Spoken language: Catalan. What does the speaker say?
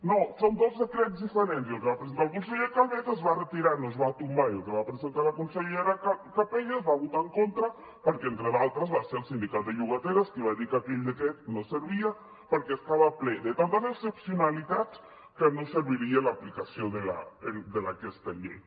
no són dos decrets diferents el que va presentar el conseller calvet es va retirar no es va tombar i el que va presentar la consellera capella es va votar en contra perquè entre d’altres va ser el sindicat de llogateres qui va dir que aquell decret no servia perquè estava ple de tantes excepcionalitats que no serviria l’aplicació d’aquesta llei